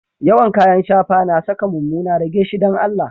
Yawan kayan shafa na sa ka mumuna, rage shi dan Allah.